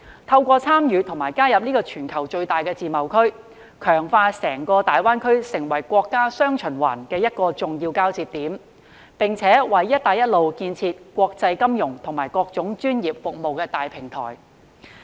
透過參與及加入這個全球最大的自由貿易協定，強化大灣區成為國家"雙循環"的重要交接點，並且為"一帶一路"建設提供國際金融與各種專業服務的大平台。